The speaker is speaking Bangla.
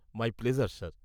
-My pleasure sir.